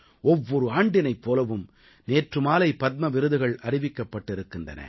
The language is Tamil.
ஒவ்வொரு ஆண்டினைப் போலவும் நேற்று மாலை பத்ம விருதுகள் அறிவிக்கப்பட்டிருக்கின்றன